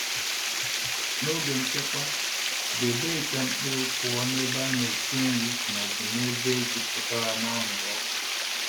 N’oge nchekwa, debe ite mkpụrụ pụọ na ebe a na-esi nri ma ọ bụ ebe jupụtara n’anwụrụ ọkụ.